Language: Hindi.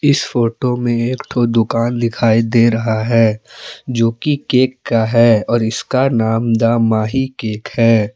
इस फोटो में एक ठो दुकान दिखाई दे रहा है जो कि केक का है और इसका नाम दा माही केक है।